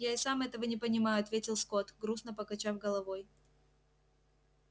я и сам этого не понимаю ответил скотт грустно покачав головой